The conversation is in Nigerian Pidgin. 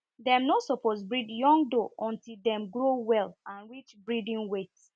dem no suppose breed young doe until dem grow well and reach breeding weight